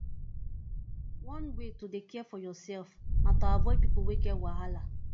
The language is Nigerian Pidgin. one way to dey care for yoursef na to avoid people wey get wahala